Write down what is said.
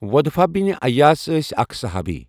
ودفہ بن اياس ٲسؠ اَکھ صُحابی.